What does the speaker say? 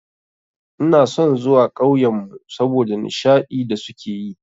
Ina son zuwa ƙauyenmu saboda nishadi da suke yi.